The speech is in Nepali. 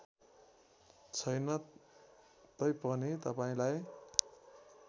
छैन तैपनि तपाईँलाई